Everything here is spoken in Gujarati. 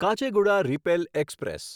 કાચેગુડા રિપેલ એક્સપ્રેસ